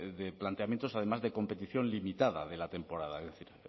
de planteamientos además de competición limitada de la temporada es decir